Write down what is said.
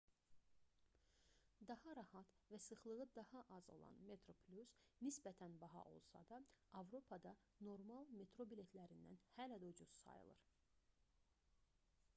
daha rahat və sıxlığı daha az olan metroplus nisbətən baha olsa da avropada normal metro biletlərindən hələ də ucuz sayılır